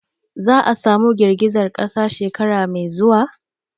Za'a samu girgizar kasa shekara mai zuwa?